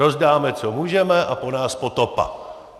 Rozdáme, co můžeme, a po nás potopa.